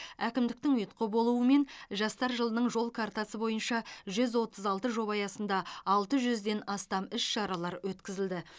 әкімдіктің ұйытқы болуымен жастар жылының жол картасы бойынша жүз отыз алты жоба аясында алты жүзден астам іс шаралар өткізілді